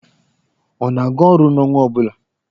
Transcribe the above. Ọ na-aga orụ n'ọnwa ọ bụla?